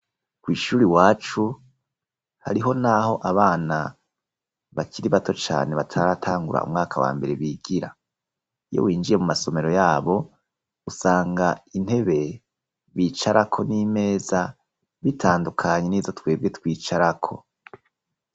Kw'iishuri iwacu hariho naho abana bakiri bato cane bataratangura umwaka wa mbere bigira. Iyo winjiye mu masomero yabo usanga intebe bicarako n'imeza bitandukanye n'izo twebwe twicarako.